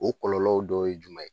O kɔlɔlɔw dɔ ye jumɛn ye?